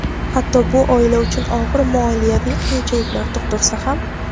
Hatto bu oila uchun og‘ir moliyaviy qiyinchiliklar tug‘dirsa ham.